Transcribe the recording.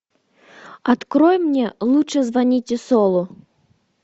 открой мне лучше звоните солу